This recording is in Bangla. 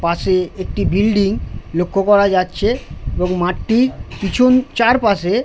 পাশে একটি বিল্ডিং লক্ষ করা যাচ্ছে। এবং মাঠটির পিছন চারপাশে --